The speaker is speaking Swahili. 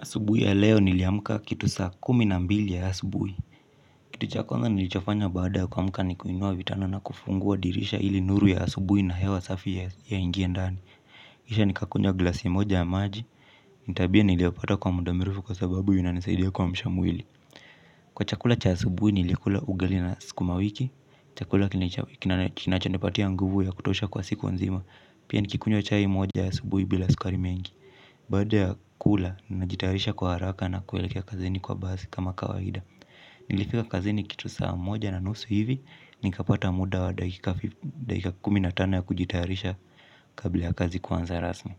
Asubuhi ya leo niliamka kitu saa kumi na mbili ya asubuhi. Kitu cha kwanza nilichofanya baada kuamuka ni kuinua vitanda na kufungua dirisha ili nuru ya asubuhi na hewa safi iingie ndani. Kisha nikakunywa glasi moja ya maji tabia niliyofata kwa muda mrefu kwa sababu inanisaidia kuasha mwili. Kwa chakula cha asubuhi nilikula ugali na sukumawiki. Chakula kinachanipatia nguvu ya kutosha kwa siku nzima. Pia nikikunywa chai moja ya asubuhi bila sukari mengi. Baada ya kula, najitayarisha kwa haraka na kuelekea kazini kwa basi kama kawaida. Nilifika kazini kitu saa moja na nusu hivi, nikapata muda wa dakika kumi na tano ya kujitayarisha kabla ya kazi kuanza rasmi.